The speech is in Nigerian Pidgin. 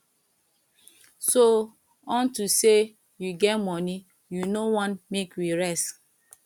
so unto say you get money you no wan make we rest